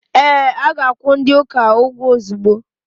Ee, a ga-akwụ ndi uka ụgwọ ozugbo.